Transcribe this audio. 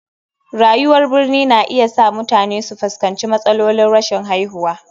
Rayuwar birni na iya sa mutane su fuskanci matsalolin rashin haihuwa.